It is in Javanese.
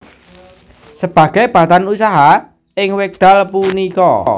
Sebagai Badan Usaha ing wekdal punika